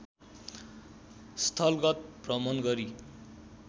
स्थलगत भ्रमण गरी